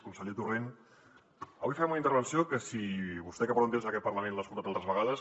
conseller torrent avui farem una intervenció que si vostè que porta temps en aquest parlament l’ha escoltat altres vegades